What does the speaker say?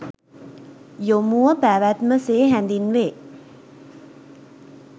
යොමුව පැවැත්ම සේ හැඳින්වේ.